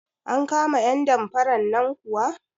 An kama 'yan damfaran nan kuwa?